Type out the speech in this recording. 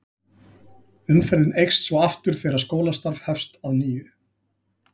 Umferðin eykst svo aftur þegar skólastarf hefst að nýju.